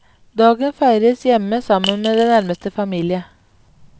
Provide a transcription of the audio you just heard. Dagen feires hjemme sammen med den nærmeste familie.